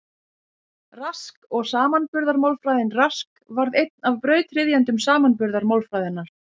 Rask og samanburðarmálfræðin Rask varð einn af brautryðjendum samanburðarmálfræðinnar.